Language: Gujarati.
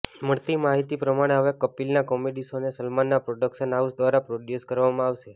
મળતી માહિતી પ્રમાણે હવે કપિલના કોમેડી શોને સલમાનના પ્રોડક્શન હાઉસ દ્વારા પ્રોડ્યુસ કરવામાં આવશે